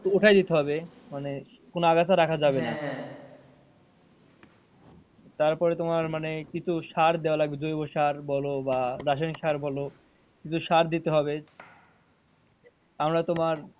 উঠাই দিতে হবে মানে কোনো আগাছা রাখা যাবে না। তারপরে তোমার মানে কিছু সার দেওয়া লাগবে জৈব সার বলো বা রাসায়নিক সার বলো কিছু সার দিতে হবে তারপরে তোমার,